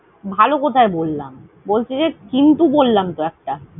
ভালো কথ্যা বললাম? বলছি যে, কিন্তু বললাম তো একটা।